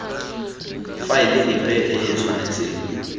faele epe e e tshwanetseng